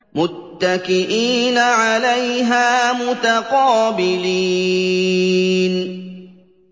مُّتَّكِئِينَ عَلَيْهَا مُتَقَابِلِينَ